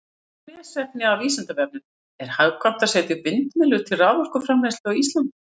Frekara lesefni af Vísindavefnum: Er hagkvæmt að setja upp vindmyllur til raforkuframleiðslu á Íslandi?